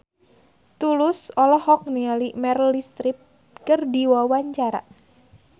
Tulus olohok ningali Meryl Streep keur diwawancara